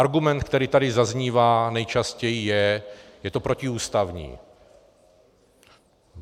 Argument, který tady zaznívá nejčastěji, je: je to protiústavní.